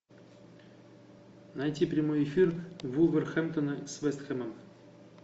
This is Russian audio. найти прямой эфир вулверхэмптона с вест хэмом